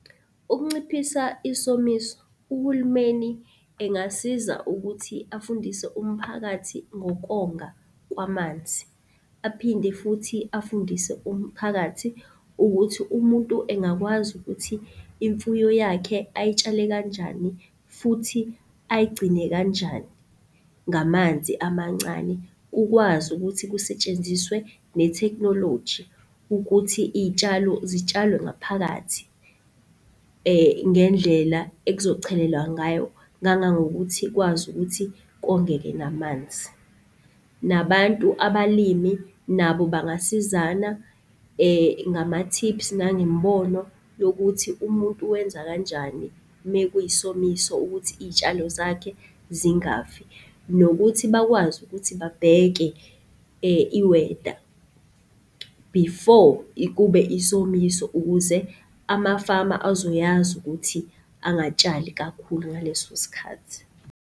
Ukunciphisa isomiso, uhulumeni engasiza ukuthi afundise umphakathi ngokonga kwamanzi. Aphinde futhi afundise umphakathi ukuthi umuntu engakwazi ukuthi imfuyo yakhe ayitshale kanjani futhi ayigcine kanjani ngamanzi amancane. Kukwazi ukuthi kusetshenziswe netheknoloji ukuthi iy'tshalo zitshalwe ngaphakathi, ngendlela ekuzochelelwa ngayo ngangangokuthi ikwazi ukuthi kongeke namanzi. Nabantu, abalimi nabo bangasizana ngama-tips nangemibono yokuthi umuntu wenza kanjani mekuyisomiso ukuthi iy'shalo zakhe zingafi. Nokuthi bakwazi ukuthi babheke, i-weather before kube isomiso ukuze amafama azoyazi ukuthi angatshali kakhulu ngaleso sikhathi.